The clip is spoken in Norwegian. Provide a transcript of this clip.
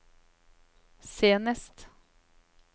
senest